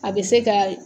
A bɛ se ka